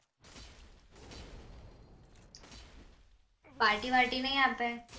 party વાર્ટી નહિ આપે